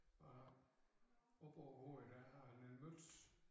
Og oppe på æ hoved der har han en møtz